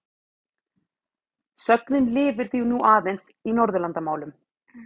Sögnin lifir því nú aðeins í Norðurlandamálum.